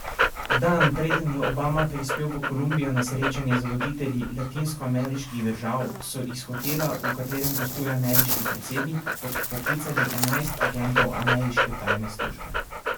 Dan, preden je Obama prispel v Kolumbijo na srečanje z voditelji latinskoameriških držav, so iz hotela, v katerem gostuje ameriški predsednik, odpoklicali enajst agentov ameriške tajne službe.